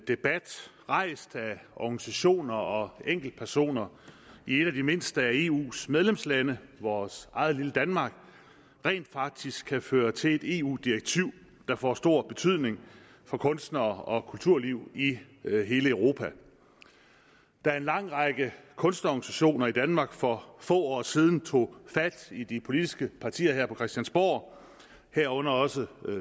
debat rejst af organisationer og enkeltpersoner i et af de mindste af eus medlemslande vores eget lille danmark rent faktisk kan føre til et eu direktiv der får stor betydning for kunstnere og kulturlivet i hele europa da en lang række kunstorganisationer i danmark for få år siden tog fat i de politiske partier her på christiansborg herunder også